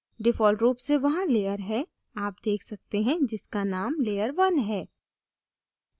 default रूप से वहाँ layer है आप देख सकते हैं जिसका named layer 1 है